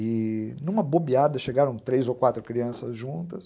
E, numa bobeada, chegaram três ou quatro crianças juntas.